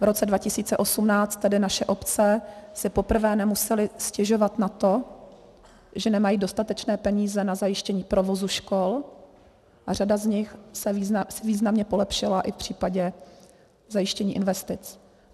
V roce 2018 tedy naše obce si poprvé nemusely stěžovat na to, že nemají dostatečné peníze na zajištění provozu škol, a řada z nich si významně polepšila i v případě zajištění investic.